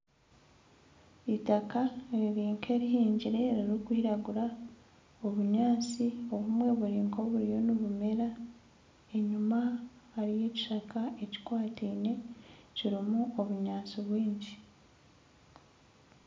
Itaka riri nk'erihingire ririkwiragura obunyatsi obumwe buri nk'oburiyo nibumera enyuma hariyo ekishaka ekikwataine kirimu obunyatsi bwingi